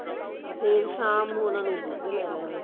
ਫ਼ੇਰ ਸ਼ਾਮ ਨੂੰ ਉਹਨਾ ਨੇ ਦੁੱਧ ਲੈ ਲੈਣਾ